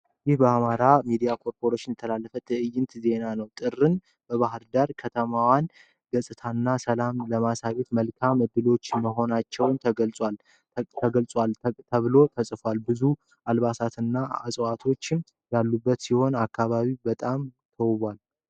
ይህ በአማራ ሚዲያ ኮርፖሬሽን የተላለፈ ትዕይንተ ዜና ነው። ጥርን በባህር ዳር የከተማዋን ገጽታና ሰላም ለማሳየትም መልካም እድሎች መኾናቸው ተገልጿል ተብሎ ተጽፏል። ብዙ አልባሳቶችህ እና እጽዋቶችም ያሉበት ሲሆን አካባቢው በጣም ተውቧል ።